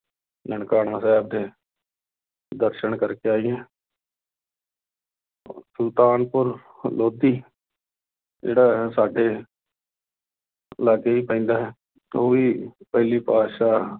ਨਨਕਾਣਾ ਸਾਹਿਬ ਦੇ ਦਰਸਨ ਕਰਕੇ ਆਈਏ ਸੁਲਤਾਨਪੁਰ ਲੋਧੀ ਜਿਹੜਾ ਹੈ ਸਾਡੇ ਲਾਗੇ ਹੀ ਪੈਂਦਾ ਹੈ ਉਹ ਵੀ ਪਹਿਲੀ ਪਾਤਿਸ਼ਾਹ